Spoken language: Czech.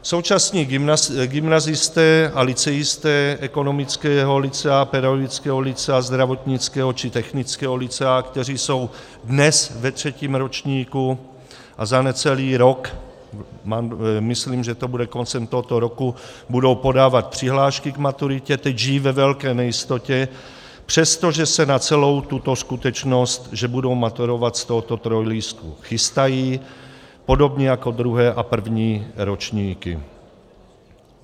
Současní gymnazisté a lyceisté ekonomického lycea, pedagogického lycea, zdravotnického či technického lycea, kteří jsou dnes ve třetím ročníku a za necelý rok, myslím, že to bude koncem tohoto roku, budou podávat přihlášky k maturitě, teď žijí ve velké nejistotě, přestože se na celou tuto skutečnost, že budou maturovat z tohoto trojlístku, chystají podobně jako druhé a první ročníky.